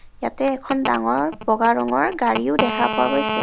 ইয়াতে এখন ডাঙৰ বগা ৰঙৰ গাড়ীও দেখা পোৱা গৈছে.